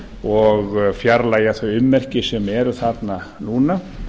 og fjarlægja þau ummerki sem eru þarna núna